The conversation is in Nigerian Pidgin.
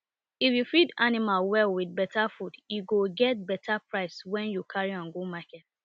if you feed animal well with better food e go get better price wen you carry am go market